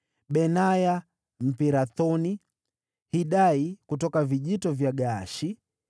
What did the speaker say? Benaya Mpirathoni; Hidai kutoka mabonde ya Gaashi;